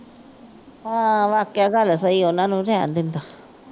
ਹਾਂ ਵਾਕਿਆ ਗੱਲ ਸਹੀ ਆ। ਉਨ੍ਹਾਂ ਨੂੰ ਰਹਿਣ ਦਿੰਦਾ।